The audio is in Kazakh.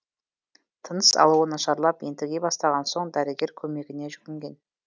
тыныс алуы нашарлап ентіге бастаған соң дәрігер көмегіне жүгінген